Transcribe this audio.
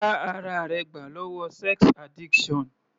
Já ara rẹ gbà lọ́wọ́ sex addiction.